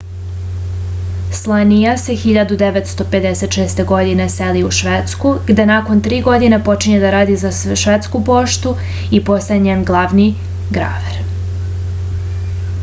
slania se 1956. godine seli u švedsku gde nakon tri godine počinje da radi za švedsku poštu i postaje njen glavni graver